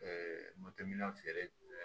feere